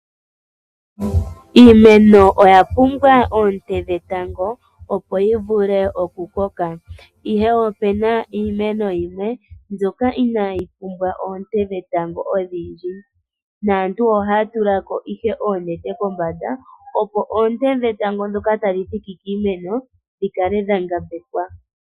Iimeno oya pumbwa oonte dhetango opo yivule oku koka, ihe opena iimeno yimwe mbyoka inayi pumbwa oonte dhetango odhindji naantu oha tulako ihe oonete kombanda opo oonte dhetango ndhoka tadhi thiki kiimeno dhikale dhankambekwa.